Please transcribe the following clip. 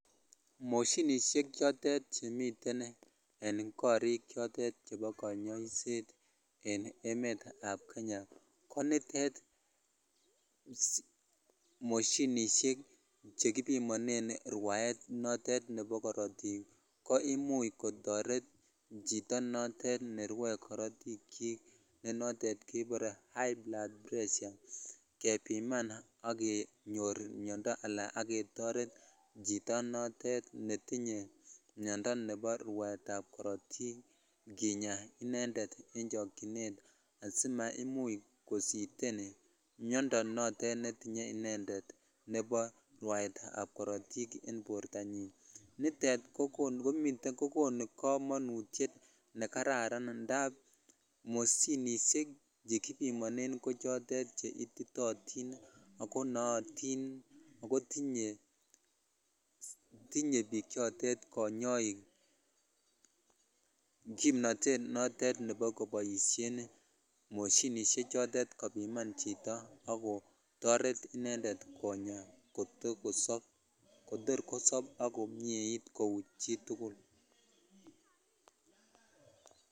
Moshinishek chotet chemiten en korik chotet chebo konyoiseten emet ab kenyako nitet moshinishek chekibimonen rwaet notet nebo korotik ko imuch kotoret chito notet nerwoe korotik ne notet kebore high blood pressure kamebiman ak jenyore miondoo ala ak ketoret chito notetnetinye miondoo nebo rwaet ab korotik kinya inended asimaimuch kositen miondoo notet netinye miondoo rwaet ab korotiken bortanyin nitet ko konu kamonutyet na kararan indap moshinishek che kibimonen ko choton che ititotin ako nootin ako tinye biik chitet konyoik kimnotet notet nebo konyoiset moshinishek kopimanan chito ak kotoret icheget konya kotor kosob kou chitukul.